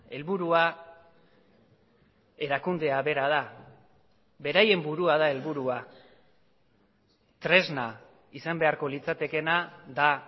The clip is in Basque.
helburua erakundea bera da beraien burua da helburua tresna izan beharko litzatekeena da